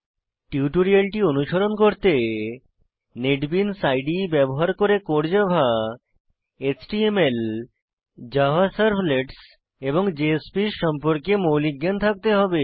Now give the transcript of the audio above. টিউটোরিয়ালটি অনুসরণ করতে নেটবিনস ইদে ব্যবহার করে core Java HTML Java servlets এবং জেএসপিএস সম্পর্কে মৌলিক জ্ঞান থাকতে হবে